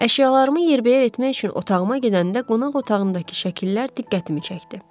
Əşyalarımı yerbəyər etmək üçün otağıma gedəndə qonaq otağındakı şəkillər diqqətimi çəkdi.